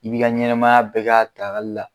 I bi ka ɲɛnɛmaya bɛɛ ka dagali la.